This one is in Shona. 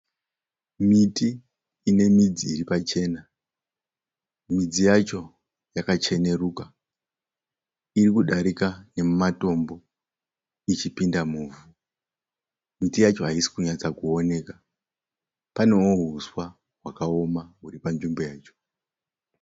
Miti ine midzi iri pachena. Midzi yacho yakacheneruka. Iri kudarika nemumatombo ichipinda muvhu. Miti yacho haisi kunyatsa kuoneka. Panewo huswa hwakaoma huri panzvimbo yacho.